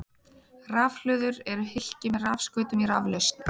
Rafhlöður eru hylki með rafskautum í raflausn.